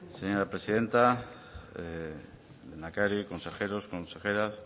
señora presidenta lehendakari consejeros consejeras señora